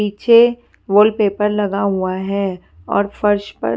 नीचे wallpaper लगा हुआ है और फर्श पर--